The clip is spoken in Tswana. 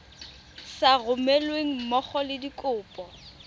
sa romelweng mmogo le dikopo